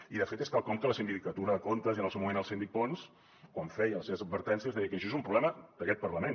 i de fet és quelcom que la sindicatura de comptes i en el seu moment el síndic pons quan feia les seves advertències deia que això és un problema d’aquest parlament